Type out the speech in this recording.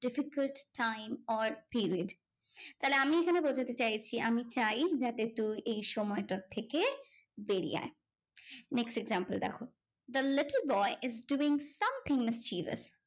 Difficult time or period. তাহলে আমি এখানে বোঝাতে চাইছি, আমি চাই যাতে তুই এই সময়টার থেকে বেরিয়ে আয়। next example দেখো, the little boy is giving something mysterious.